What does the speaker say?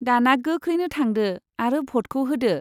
दाना गोख्रैनो थांदो आरो भटखौ होदो।